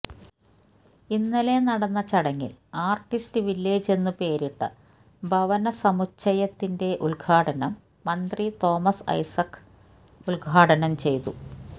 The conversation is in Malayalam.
ഇന്നലെ നടന്ന ചടങ്ങിൽ ആർട്ടിസ്റ്റ് വില്ലേജ് എന്നു പേരിട്ട ഭവനസമുച്ചയത്തിന്റെ ഉദ്ഘാടനം ന്ത്രി തോമസ് ഐസക് ഉദ്ഘാടനം ചെയ്തു